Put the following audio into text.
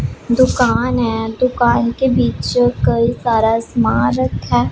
दुकान है दुकान के बीच कई सारा समान रखा है।